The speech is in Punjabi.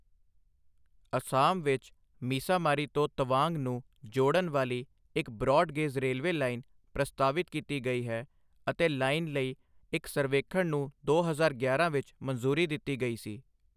ਅਸਾਮ ਵਿੱਚ ਮਿਸਾਮਾਰੀ ਤੋਂ ਤਵਾਂਗ ਨੂੰ ਜੋੜਨ ਵਾਲੀ ਇੱਕ ਬ੍ਰੌਡ ਗੇਜ ਰੇਲਵੇ ਲਾਈਨ ਪ੍ਰਸਤਾਵਿਤ ਕੀਤੀ ਗਈ ਹੈ ਅਤੇ ਲਾਈਨ ਲਈ ਇੱਕ ਸਰਵੇਖਣ ਨੂੰ ਦੋ ਹਜ਼ਾਰ ਗਿਆਰਾਂ ਵਿੱਚ ਮਨਜ਼ੂਰੀ ਦਿੱਤੀ ਗਈ ਸੀ।